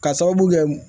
K'a sababu kɛ